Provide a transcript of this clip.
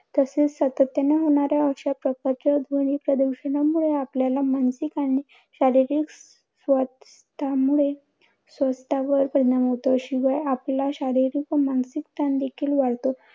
तसेच सातत्याने होणाऱ्या अशा प्रकारच्या ध्वनी प्रदूषणामुळे, आपल्याला मानसिक आणि शारीरिक स्वास्थमुळे स्वास्थावर परिणाम होतो. शिवाय आपला शारीरिक व मानसिक ताण देखील वाढतो.